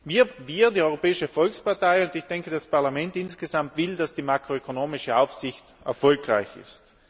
Wir, die Europäische Volkspartei, und das Parlament insgesamt wollen, dass die makroökonomische Aufsicht erfolgreich ist.